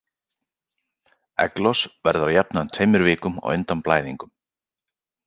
Egglos verður að jafnaði um tveimur vikum á undan blæðingum.